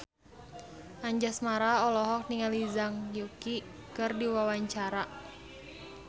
Anjasmara olohok ningali Zhang Yuqi keur diwawancara